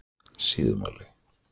Síðumúla